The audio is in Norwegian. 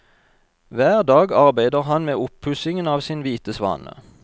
Hver dag arbeider han med oppussingen av sin hvite svane.